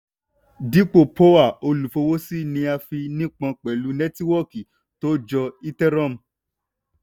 dípò poa olùfọwọ́sí ni a fi nípọn pẹ̀lú nétíwọ́kì tó jọ ethereum